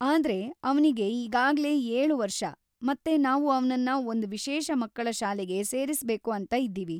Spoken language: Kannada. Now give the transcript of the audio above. ಆದ್ರೆ ಅವ್ನಿಗೆ ಈಗಾಗ್ಲೆ ಏಳು ವರ್ಷ ಮತ್ತೆ ನಾವು ಅವ್ನನ್ನ ಒಂದು ವಿಶೇಷ ಮಕ್ಕಳ ಶಾಲೆಗೆ ಸೇರಿಸ್ಬೇಕು ಅಂತ ಇದ್ದೀವಿ.